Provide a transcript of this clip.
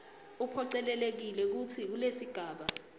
uphocelelekile kutsi kulesigaba